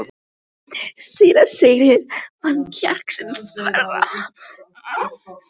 Síra Sigurður fann kjark sinn þverra.